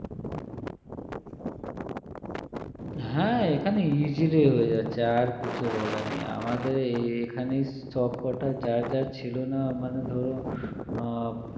হ্যাঁ এখানে easily হয়ে যাচ্ছে আর কিছু বলে নাই আমাদের এ~ এখানেই সবকটা যার যার ছিলনা মানে ধরো আহ